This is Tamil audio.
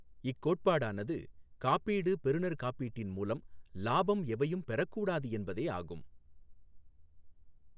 இக்கோட்பாடானது காப்பீடு பெறுநர் காப்பீட்டின் மூலம் லாபம் எவையும் பெறக்கூடாது என்பதே ஆகும்.